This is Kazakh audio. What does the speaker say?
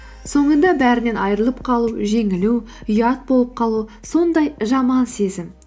соңында бәрінен айырылып қалу жеңілу ұят болып қалу сондай жаман сезім